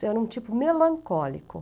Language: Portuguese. Eu era um tipo melancólico.